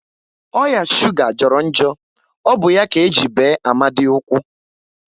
Oya shuga jọrọ njọ, ọ bụ ya ka eji bee Amadi ụkwụ